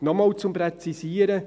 Noch einmal zum Präzisieren: